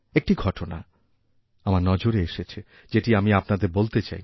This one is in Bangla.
একটি ঘটনা আমার নজরেএসেছে যেটি আমি আপনাদের বলতে চাই